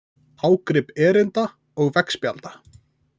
Ágrip erinda og veggspjalda.